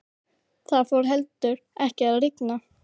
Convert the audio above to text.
Það fór heldur ekki að rigna.